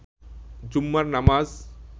জুম্মার নামাজ